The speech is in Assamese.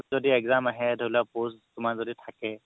যদি exam আহে ধৰি লোৱা post যদি তুমাৰ থাকে